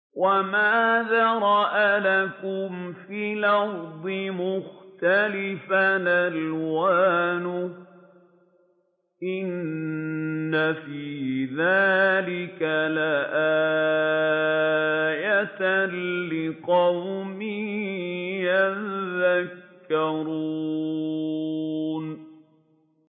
وَمَا ذَرَأَ لَكُمْ فِي الْأَرْضِ مُخْتَلِفًا أَلْوَانُهُ ۗ إِنَّ فِي ذَٰلِكَ لَآيَةً لِّقَوْمٍ يَذَّكَّرُونَ